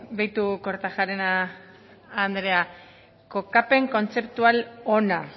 begiratu kortajarena andrea kokapen kontzeptual ona